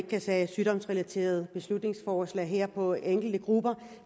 vedtage sygdomsrelaterede beslutningsforslag her for enkelte grupper